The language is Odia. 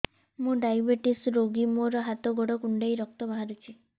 ମୁ ଡାଏବେଟିସ ରୋଗୀ ମୋର ହାତ ଗୋଡ଼ କୁଣ୍ଡାଇ ରକ୍ତ ବାହାରୁଚି